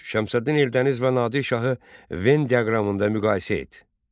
Üç: Şəmsəddin Eldəniz və Nadir şahı Venn diaqramında müqayisə et.